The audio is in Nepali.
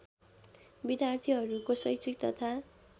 विद्यार्थीहरूको शैक्षिक तथा